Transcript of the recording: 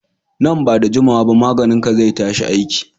Nan ba da juma wa ba maganin ka zai tashi aiki